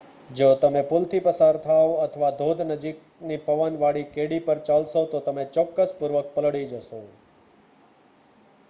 જો તમે પુલ થી પસાર થાવ છો અથવા ધોધ નજીકની પવન વાળી કેડી પર ચાલશો તો તમે ચોક્કસ પૂર્વક પલળી જશો